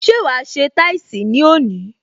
Ṣé wa se táìsì ní òní?